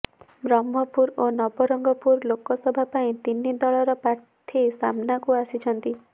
ବ୍ରହ୍ମପୁର ଓ ନବରଙ୍ଗପୁର ଲୋକସଭା ପାଇଁ ତିନି ଦଳର ପ୍ରାର୍ଥୀ ସାମନାକୁ ଆସିଛନ୍ତି